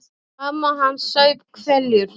Mamma hans saup hveljur.